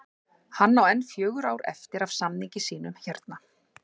Hann á enn fjögur ár eftir af samningi sínum hérna